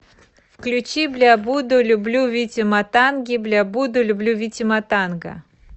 включи бля буду люблю вити матанги бля буду люблю вити матанга